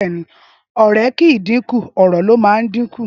Ọrẹ ki ń din kú, ọrọ ni mà ń dín kú